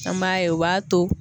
An b'a ye o b'a to